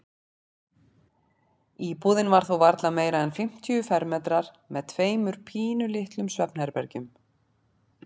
Íbúðin var þó varla meira en fimmtíu fermetrar með tveimur pínulitlum svefnherbergjum.